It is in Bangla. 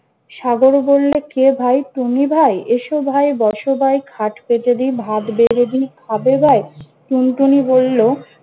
সাগর বললে কে ভাই? টুনি ভাই? এসো ভাই, বস ভাই, খাট পেতে দি, ভাত বেড়ে দি, খাবে ভাই? টুনটুনি বলল-